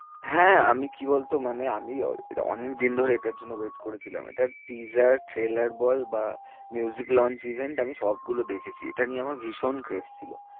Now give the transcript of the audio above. হ্যাঁ, আমি কি বলতো মানে আমি অনেকদিন ধরে এটার জন্যে wait করেছিলাম, এটা trallor বল বা launch event আমি সবগুলো দেখেছি, এটা নিয়ে আমার ভীষণ grace